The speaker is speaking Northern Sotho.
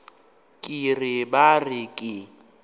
ke re ba re ke